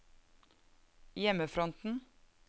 hjemmefronten